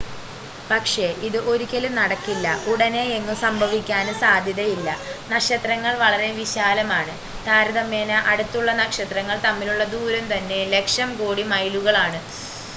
പക്ഷേ ഇത് ഒരിക്കലും നടക്കില്ല ഉടനെയെങ്ങും സംഭവിക്കാനും സാധ്യതയില്ല നക്ഷത്രങ്ങൾ വളരെ വിശാലമാണ് താരതമ്യേന അടുത്തുള്ള നക്ഷത്രങ്ങൾ തമ്മിലുള്ള ദൂരം തന്നെ ലക്ഷം കോടി മൈലുകലാണ്